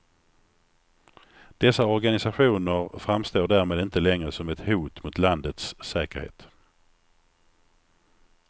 Dessa organisationer framstår därmed inte längre som ett hot mot landets säkerhet.